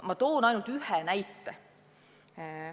Ma toon ainult ühe näite.